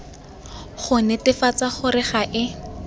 go netefatsa gore ga e